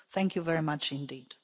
Thank you very much indeed.